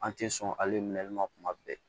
An tɛ sɔn hali ma kuma bɛɛ